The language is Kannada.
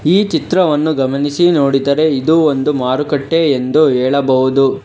ಈ ಚಿತ್ರವನ್ನು ಗಮನಿಸಿ ನೋಡಿದರೆ ಇದು ಒಂದು ಮಾರುಕಟ್ಟೆ ಎಂದು ಹೇಳಬಹುದು.